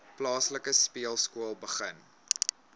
plaaslike speelskool begin